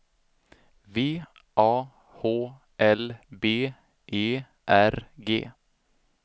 V A H L B E R G